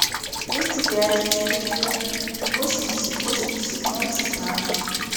двести пять четыреста восемьдесят восемьдесят ноль шестнадцать